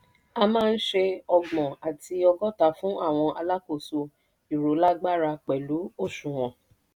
a máa ń ṣe ọgbọ̀n àti ọgọ́ta fún àwọn alákòóso ìrólágbára pẹ́lu òṣùnwọ̀n.